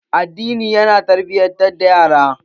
Addini ya na tarbiyatar da yara.